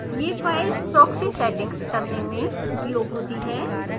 यह file proxy settings करने में उपयोग होती है